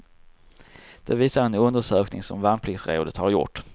Det visar en undersökning som värnpliktsrådet har gjort.